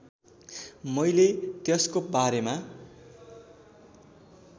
मैले त्यसको बारेमा